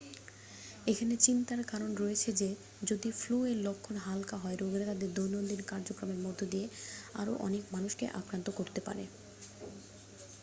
এখানে চিন্তার কারণ রয়েছে যে যদি ফ্লু এর লক্ষণ হালকা হয় রোগীরা তাদের দৈনন্দিন কার্যক্রমের মধ্য দিয়ে আরো অনেক মানুষকে আক্রান্ত করতে পারে